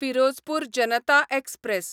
Firozpur Janata express